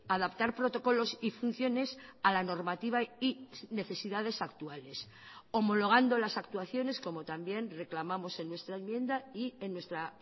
adaptar protocolos y funciones a la normativa y necesidades actuales homologando las actuaciones como también reclamamos en nuestra enmienda y en nuestra